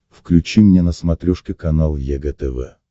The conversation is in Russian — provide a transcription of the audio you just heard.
включи мне на смотрешке канал егэ тв